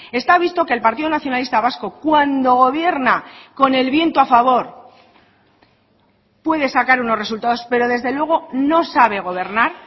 está visto que el partido nacionalista vasco cuando gobierna con el viento a favor puede sacar unos resultados pero desde luego no sabe gobernar